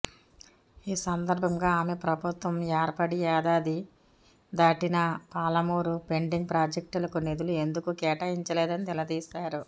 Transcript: ఈ సందర్భంగా ఆమె ప్రభుత్వం ఏర్పడి ఏడాది దాటినా పాలమూరు పెండింగ్ ప్రాజెక్టులకు నిధులు ఎందుకు కేటాయించలేదని నిలదీశారు